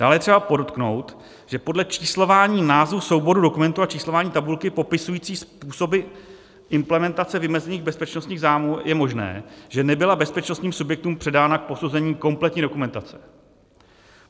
Dále je třeba podotknout, že podle číslování názvu souboru dokumentů a číslování tabulky popisující způsoby implementace vymezených bezpečnostních zájmů je možné, že nebyla bezpečnostním subjektům předána k posouzení kompletní dokumentace.